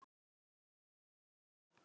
Elsku besta amma Fríða.